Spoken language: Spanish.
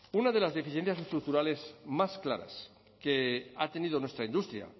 una de las deficiencias estructurales más claras que ha tenido nuestra industria